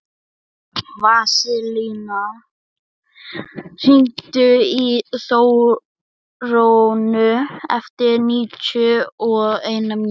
Vasilia, hringdu í Þórönnu eftir níutíu og eina mínútur.